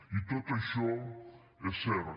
i tot això és cert